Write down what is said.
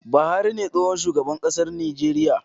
Buhari ne tsohon shugaban ƙasar Nijeriya